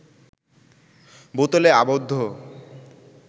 বোতলে আবদ্ধ